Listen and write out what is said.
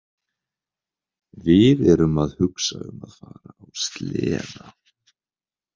Við erum að hugsa um að fara á sleða.